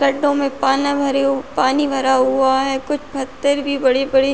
गड्ढों में पाना भरे हु पानी भरा हुआ है। कुछ फत्तर भी बड़े बड़े --